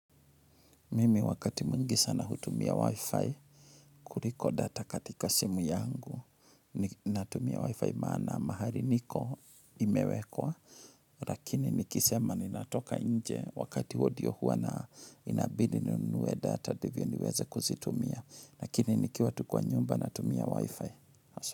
Mimi wakati mwingi sana hutumia Wi-Fi, kuliko data katika simu yangu natumia Wi-Fi maana mahali niko imewekwa. Lakini nikisema ninatoka nje wakati huo ndio huwa na inabidi ninunuwe data ndivyo niweze kuzitumia. Lakini nikiwa tu kwa nyumba natumia Wi-Fi.